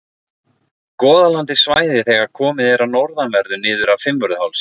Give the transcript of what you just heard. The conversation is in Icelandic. Goðaland er svæðið þegar komið er að norðanverðu niður af Fimmvörðuhálsi.